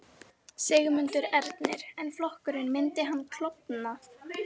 Sigmundur Ernir: En flokkurinn, myndi hann klofna?